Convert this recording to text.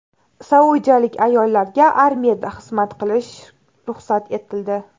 Saudiyalik ayollarga armiyada xizmat qilish ruxsat etildi.